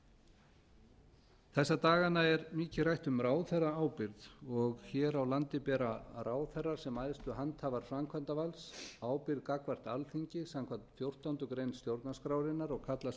kæmi þessa dagana er mikið rætt um ráðherraábyrgð og hér á landi bera ráðherrar sem æðstu handhafar framkvæmdarvalds ábyrgð gagnvart alþingi samkvæmt fjórtándu greinar stjórnarskrárinnar og kallast